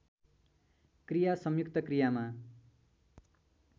क्रिया संयुक्त क्रियामा